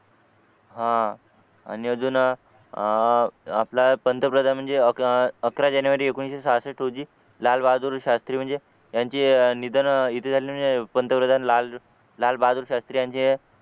हा आणि अजून अह आपला पंतप्रधान म्हणजे अकरा जानेवारी एकोणीशे सहासष्ठ रोजी लालबहादूर शास्त्री म्हणजे यांचे निधन येथे झालेले म्हणजे पंतप्रधान लाल लाल बहादूर शास्त्री यांचे